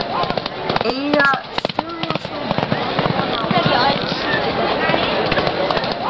Eiga stuðningsmennirnir von á miklu frá mér?